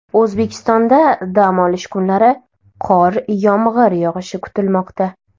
O‘zbekistonda dam olish kunlari qor-yomg‘ir yog‘ishi kutilmoqda.